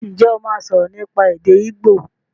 Ǹjẹ́ o máa sọ̀rọ̀ nípa èdè igbo?